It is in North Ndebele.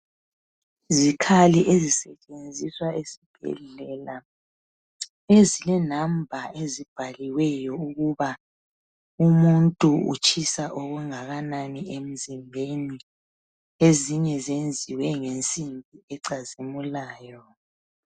Izikhali ezisetshenziswa esibhedlela, ezilenamba ezibhaliweyo ukuba umuntu utshisa okungakanani emzimbeni. Ezinye zenziwe ngensimbi ecazimulayo.